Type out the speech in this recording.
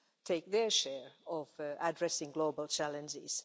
take their share of addressing global challenges.